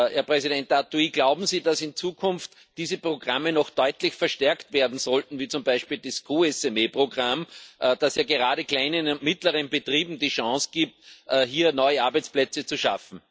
Herr Arthuis, glauben Sie, dass in Zukunft diese Programme noch deutlich verstärkt werden sollten, wie zum Beispiel das COSME Programm, das ja gerade kleinen und mittleren Betrieben die Chance gibt, hier neue Arbeitsplätze zu schaffen?